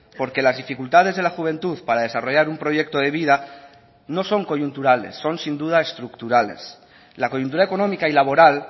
porque las dificultades de la juventud para desarrollar un proyecto de vida no son coyunturales son sin duda estructurales la coyuntura económica y laboral